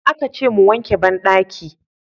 Aka ce mu wanke bandaki.